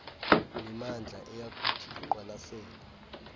mimandla eyakuthi iqwalaselwe